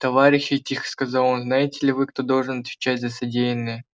товарищи тихо сказал он знаете ли вы кто должен отвечать за содеянное